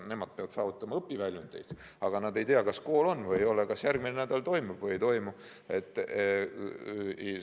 Nad peavad saavutama õpiväljundeid, aga nad ei tea, kas kool on või ei ole, kas järgmisel nädalal toimub kontaktõpe või ei toimu.